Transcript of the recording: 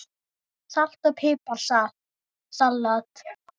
Salt og pipar salat